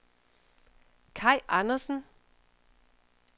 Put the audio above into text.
Kaj Andersen